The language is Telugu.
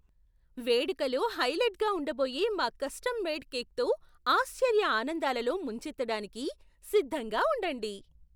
వేడుకలో హైలైట్గా ఉండబోయే మా కస్టమ్ మేడ్ కేక్తో ఆశ్చర్య ఆనందాలలో ముంచెత్తడానికి సిద్ధంగా ఉండండి